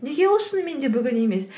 неге ол шынымен де бүгін емес